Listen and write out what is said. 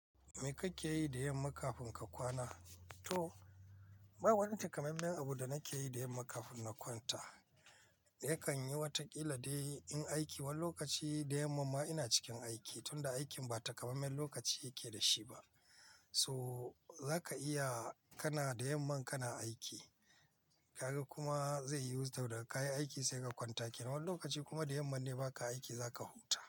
Me kake yi da yamma kafin ka kwana? To, ba wani takamaimen abu da nake yi da yamma kafin na kwanta. Yakan yi wataƙila dai in aiki wani lokaci da yamman ma ina cikin aiki, tunda aikin ba takamaiman lokaci yake da shi ba. So zaka iya kana da yamman kana aiki, ka ga kuma zai yiwu da ka yi aiki sai ka kwanta. Kenan wani lokaci kuma da yamman ne baka aiki, zaka huta.